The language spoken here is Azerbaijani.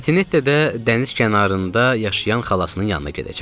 Etinette də dəniz kənarında yaşayan xalasının yanına gedəcək.